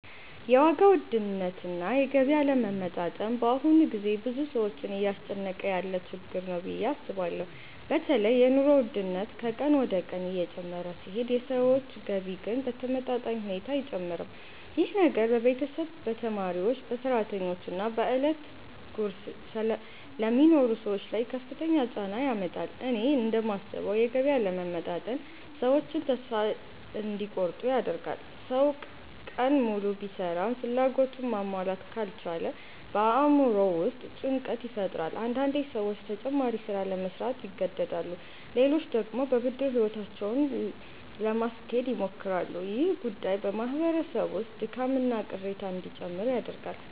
የዋጋ ውድነትና የገቢ አለመመጣጠን በአሁኑ ጊዜ ብዙ ሰዎችን እያስጨነቀ ያለ ችግር ነው ብዬ አስባለሁ። በተለይ የኑሮ ውድነት ከቀን ወደ ቀን እየጨመረ ሲሄድ የሰዎች ገቢ ግን በተመጣጣኝ ሁኔታ አይጨምርም። ይህ ነገር በቤተሰብ፣ በተማሪዎች፣ በሰራተኞች እና በዕለት ጉርስ ለሚኖሩ ሰዎች ላይ ከፍተኛ ጫና ያመጣል። እኔ እንደማስበው የገቢ አለመመጣጠን ሰዎችን ተስፋ እንዲቆርጡ ያደርጋል። ሰው ቀን ሙሉ ቢሰራም ፍላጎቱን ማሟላት ካልቻለ በአእምሮው ውስጥ ጭንቀት ይፈጠራል። አንዳንዴ ሰዎች ተጨማሪ ሥራ ለመሥራት ይገደዳሉ፣ ሌሎች ደግሞ በብድር ሕይወታቸውን ለማስኬድ ይሞክራሉ። ይህ ጉዳይ በማህበረሰብ ውስጥ ድካምና ቅሬታ እንዲጨምር ያደርጋል።